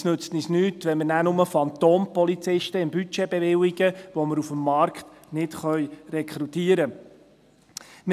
Es nützt uns nichts, wenn wir im Budget nachher nur Phantompolizisten bewilligen, welche wir auf dem Markt nicht rekrutieren können.